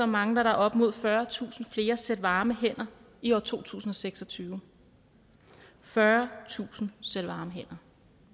mangler der op imod fyrretusind flere sæt varme hænder i år to tusind og seks og tyve fyrretusind sæt varme hænder